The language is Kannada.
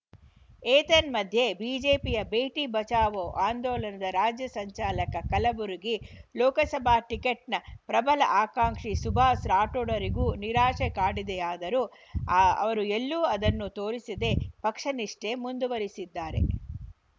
ಏತನ್ಮಧ್ಯೆ ಬಿಜೆಪಿಯ ಬೇಟಿ ಬಚಾವೋ ಆಂದೋಲನದ ರಾಜ್ಯ ಸಂಚಾಲಕ ಕಲಬುರಗಿ ಲೋಕಸಭಾ ಟಿಕೆಟ್‌ನ ಪ್ರಬಲ ಆಕಾಂಕ್ಷಿ ಸುಭಾಸ್‌ ರಾಠೋಡರಿಗೂ ನಿರಾಶೆ ಕಾಡಿದೆಯಾದರೂ ಅ ಅವರು ಎಲ್ಲೂ ಅದನ್ನು ತೋರಿಸದೆ ಪಕ್ಷ ನಿಷ್ಠೆ ಮುಂದುವರಿಸಿದ್ದಾರೆ